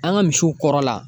An ka misiw kɔrɔla